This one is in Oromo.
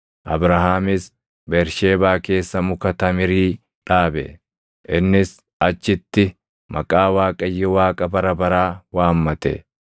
Abrahaamis Bersheebaa keessa muka tamirii dhaabe; innis achitti maqaa Waaqayyo Waaqa Bara Baraa waammate.